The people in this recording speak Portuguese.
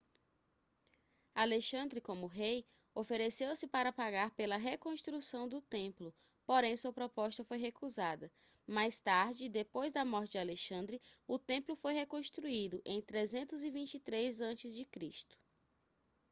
alexandre como rei ofereceu-se para pagar pela reconstrução do templo porém sua proposta foi recusada mais tarde depois da morte de alexandre o templo foi reconstruído em 323 ac